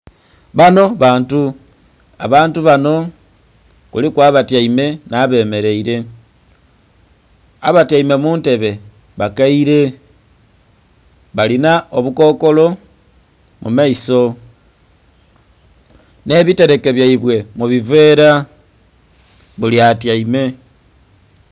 Banho bantu, abantu banho kuliku abatyaime nh'abemeleile. Abatyaime mu ntebe bakaire balinha obukokolo mu maiso nh'ebiteleke byaibwe mu biveela, buli atyaime.